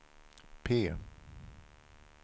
P